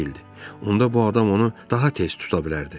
Onda bu adam onu daha tez tuta bilərdi.